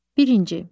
Birinci.